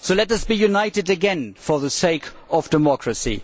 So let us be united again for the sake of democracy.